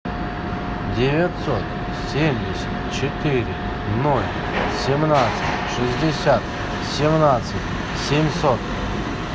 девятьсот семьдесят четыре ноль семнадцать шестьдесят семнадцать семьсот